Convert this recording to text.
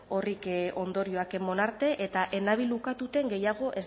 ondorioak eman arte eta ez nabil ukatzen gehiago